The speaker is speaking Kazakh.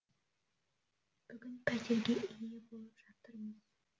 бүгін пәтерге ие болып жатырмыз